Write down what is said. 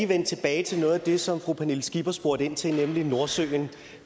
vende tilbage til noget af det som fru pernille skipper spurgte ind til nemlig nordsøen